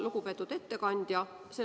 Lugupeetud ettekandja!